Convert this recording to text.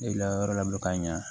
Ne layɔrɔ la ka ɲa